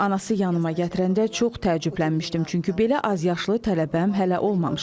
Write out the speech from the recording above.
Anası yanıma gətirəndə çox təəccüblənmişdim, çünki belə azyaşlı tələbəm hələ olmamışdı.